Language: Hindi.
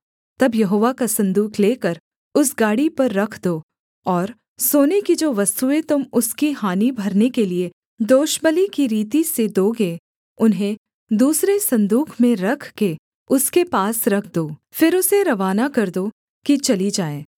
तब यहोवा का सन्दूक लेकर उस गाड़ी पर रख दो और सोने की जो वस्तुएँ तुम उसकी हानि भरने के लिये दोषबलि की रीति से दोगे उन्हें दूसरे सन्दूक में रख के उसके पास रख दो फिर उसे रवाना कर दो कि चली जाए